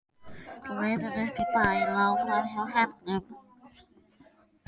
Leiðin upp í bæ lá framhjá Hernum.